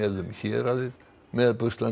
um héraðið með